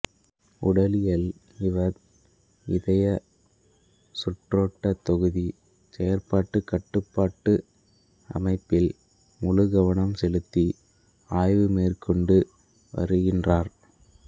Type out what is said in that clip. உடலியல் இவர் இருதயசுற்றோட்ட தொகுதி செயற்பாட்டுக் கட்டுப்பாட்டு அமைப்பில் முழு கவனம் செலுத்தி ஆய்வு மேற்கொண்டு வருகின்றார்